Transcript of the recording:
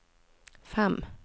fem